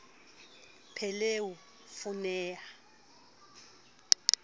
pheleu v o ne a